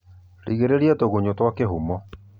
Rigiriria tũgunyo twa kĩhumo